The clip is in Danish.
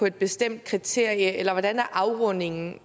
et bestemt kriterie eller hvordan er afrundingen